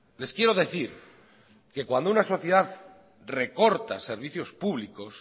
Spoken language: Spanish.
les quiero decir que cuando una sociedad recorta servicios públicos